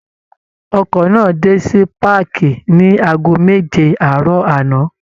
Ọkọ̀ náà dé sí páàkì ní aago méje àárọ̀ àná